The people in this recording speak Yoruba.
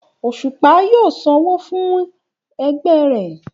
Òṣùpá yóò sanwó fún ẹgbẹ́ rẹ̀